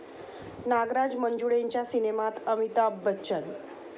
नागराज मंजुळेंच्या सिनेमात अमिताभ बच्चन